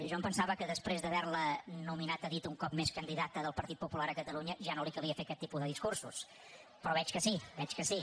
jo em pensava que després d’haver la nominada a dit un cop més candida ta del partit popular a catalunya ja no li calia fer aquest tipus de discursos però veig que sí